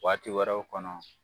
Waati wɛrɛw kɔnɔ